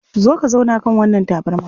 Zo ka zauna kan wannan tabarma.